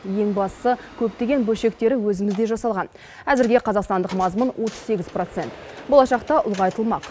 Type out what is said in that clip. ең бастысы көптеген бөлшегі өзімізде жасалған әзірге қазақстандық мазмұн отыз сегіз процент болашақта ұлғайтылмақ